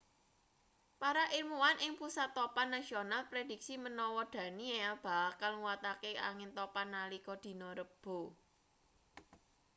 para ilmuwan ing pusat topan nasional prédhiksi menawa danielle bakal nguwatake angin topan nalika dina rebo